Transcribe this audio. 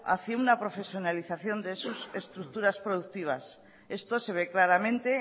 hacia una profesionalización de sus estructuras productivas esto se ve claramente